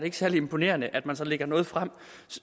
er særlig imponerende at man så lægger noget frem